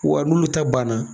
Wa n'olu ta banna